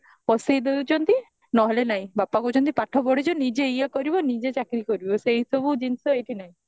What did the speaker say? ପଶେଇ ଦଉଛନ୍ତି ନହେଲେ ନାଇଁ ବାପା କହୁଛନ୍ତି ପାଠ ପଢିଛ ନିଜେ ଇଏ କରିବା ନିଜେ ଚାକିରୀ କରିବ ସେଇସବୁ ଜିନିଷ ଏଇଠି ନାଇଁ